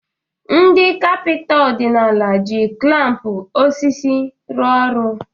Ndị kapịnta ọdịnala ji klampu osisi rụo ọrụ.